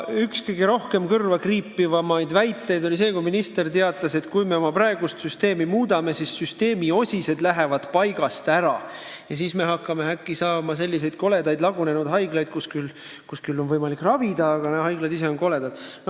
Üks kõige rohkem kõrva kriipivaid ministri väiteid oli see, et kui me oma praegust süsteemi muudame, siis süsteemi osised lähevad paigast ära ja meil hakkavad äkki olema sellised koledad lagunenud haiglad, kus küll on võimalik ravida, aga haiglad ise on koledad.